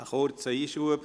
Ein kurzer Einschub.